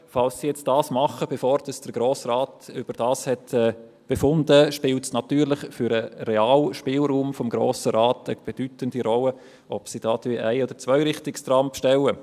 Wenn das Unternehmen die zusätzlichen Trams bestellt, bevor der Grosse Rat darüber befunden hat, spielt es für den realen Spielraum des Grossen Rates natürlich eine bedeutende Rolle, ob in Bern Ein- oder Zweirichtungstrams bestellt werden.